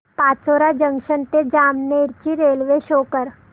Pachora junction ते जामनेर ची railway show कर